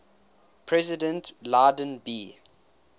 president lyndon b